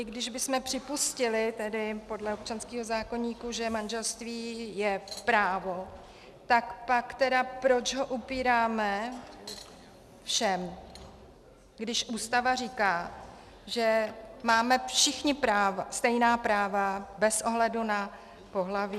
I když bychom připustili, tedy podle občanského zákoníku, že manželství je právo, tak pak tedy proč ho upíráme všem, když Ústava říká, že máme všichni práva, stejná práva bez ohledu na pohlaví?